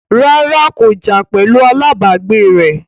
rárá, kò jà pẹ̀lu alábàágbé rẹ̀